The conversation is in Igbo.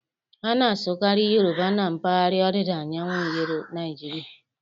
A na-asụkarị Yoruba na mpaghara ọdịda anyanwụ Naịjirịa.